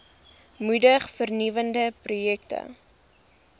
moedig vernuwende projekte